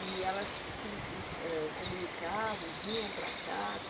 E elas, ãh, se comunicavam, vinham para cá.